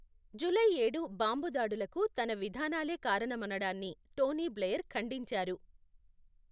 July ఏడు bomb దాడులకు తన విధానాలే కారణమనడాన్ని టోనీ బ్లెయిర్ ఖండించారు.